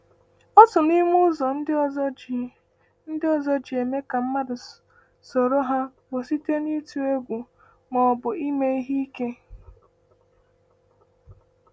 Otu n’ime ụzọ ndị ọzọ ji ndị ọzọ ji eme ka mmadụ soro ha bụ site n’ịtụ egwu ma ọ bụ ime ihe ike.